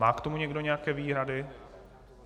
Má k tomu někdo nějaké výhrady?